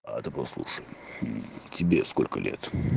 а ты послушай тебе сколько лет